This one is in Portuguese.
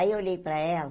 Aí eu olhei para ela,